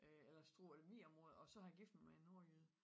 Øh Struer-Lemvig området og så har jeg gittet mig med en nordjyde